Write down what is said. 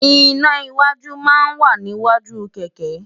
iná́ iwájú máa ń wà níwájú kẹ̀kẹ́